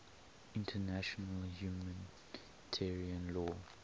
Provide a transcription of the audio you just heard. international humanitarian law